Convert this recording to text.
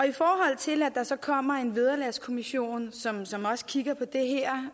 i forhold til at der så kommer en vederlagskommission som som kigger på det her